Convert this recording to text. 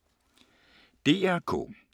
DR K